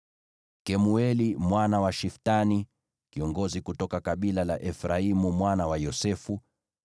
Kemueli mwana wa Shiftani, kiongozi kutoka kabila la Efraimu mwana wa Yosefu;